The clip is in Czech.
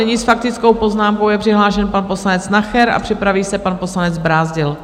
Nyní s faktickou poznámkou je přihlášen pan poslanec Nacher a připraví se pan poslanec Brázdil.